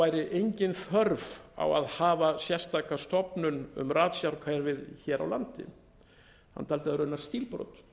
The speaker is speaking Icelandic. væri engin þörf á að hafa sérstaka stofnun um ratsjárkerfið hér á landi hann taldi það raunar